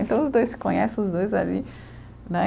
Então, os dois se conhecem, os dois ali, né?